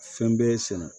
Fɛn bɛɛ ye sɛnɛ